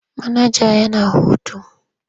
Manaja yana hutu.